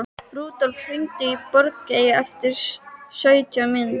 Rúdólf, hringdu í Bogeyju eftir sautján mínútur.